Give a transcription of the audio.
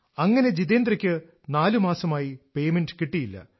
അങ്ങനെ ജിതെന്ദ്രക്ക് നാലുമാസമായി പേമെന്റ് കിട്ടിയില്ല